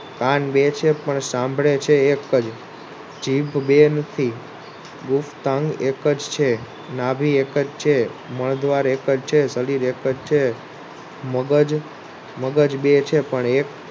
કાન બે છે પણ સાંભળે છે એક જ જીભ બે નથી મુખ તંગ એક જ છે નાભિ એક જ છે મળદ્વાર એક જ છે શરીર એક જ છે મગજ બે છે પણ એક